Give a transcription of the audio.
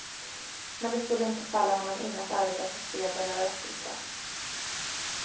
Men det skulle inte falla honom in att arbeta för fred eller rättvisa.